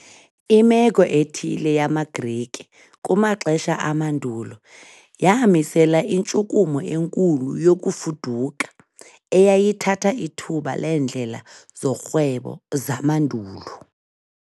Imeko ethile yamaGrike kumaxesha amandulo yamisela intshukumo enkulu yokufuduka, eyayithatha ithuba leendlela zorhwebo zamandulo.